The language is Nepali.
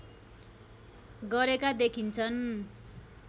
गरेका देखिन्छन्